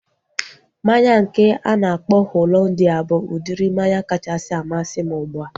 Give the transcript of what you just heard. Mmanya nke a na-akpọ Hollandia bụ udiri mmanya kachasị amasị m ugbua